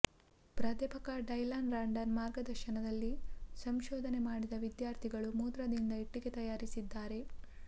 ಪ್ರಾಧ್ಯಾಪಕ Dylan Randall ಮಾರ್ಗದರ್ಶನಲ್ಲಿ ಸಂಶೋಧನೆ ಮಾಡಿದ ವಿದ್ಯಾರ್ಥಿಗಳು ಮೂತ್ರದಿಂದ ಇಟ್ಟಿಗೆ ತಯಾರಿಸಿದ್ದಾರೆ